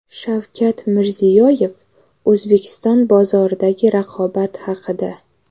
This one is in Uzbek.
Shavkat Mirziyoyev O‘zbekiston bozoridagi raqobat haqida.